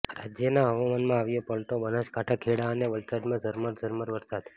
રાજ્યના હવામાનમાં આવ્યો પલટો બનાસકાંઠા ખેડા અને વલસાડમાં ઝરમર ઝરમર વરસાદ